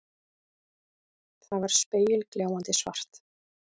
Það var spegilgljáandi svart.